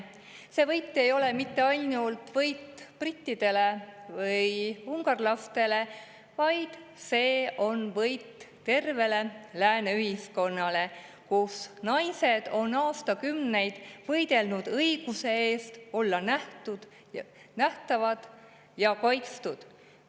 See võit ei ole mitte ainult võit brittidele ja ungarlastele, vaid see on võit tervele lääne ühiskonnale, kus naised on aastakümneid võidelnud õiguse eest olla nähtavad ja kaitstud.